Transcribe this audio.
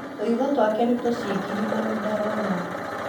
Tũitho twake nĩ tũcingirimanu ndarona